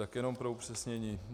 Tak jen pro upřesnění.